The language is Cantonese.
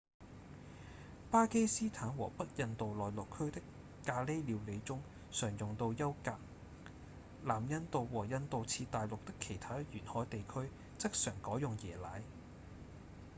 巴基斯坦和北印度內陸區的咖哩料理中常用到優格；南印度和印度次大陸的其他沿海地區則常改用椰奶